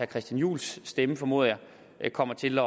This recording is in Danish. christian juhls stemme formoder jeg kommer til